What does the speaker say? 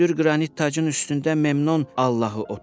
Hündür qranit tacın üstündə Memnon Allahı oturub.